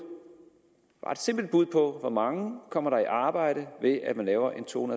ret simpelt bud på hvor mange kommer i arbejde ved at man laver en to